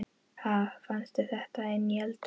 Ha! Fannstu þetta inni í eldhúsi?